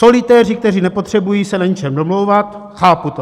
Solitéři, kteří nepotřebují se na ničem domlouvat, chápu to.